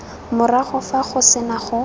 morago fa go sena go